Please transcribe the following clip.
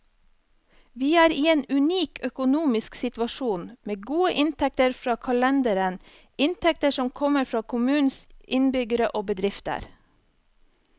Vi er i en unik økonomisk situasjon, med gode inntekter fra kalenderen, inntekter som kommer fra kommunens innbyggere og bedrifter.